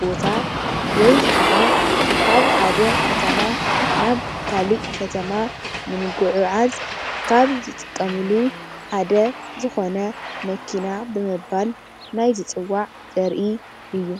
መሀወፂ ዝጠቅም ተሽከርካሪ እዩ።